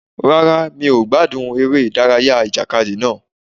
Rárá, mi ò gbádùn eré ìdárayá ìjàkadì náà.